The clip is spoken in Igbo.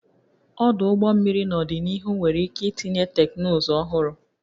Ọdụ ụgbọ mmiri n'ọdịnihu nwere ike itinye teknụzụ ọhụrụ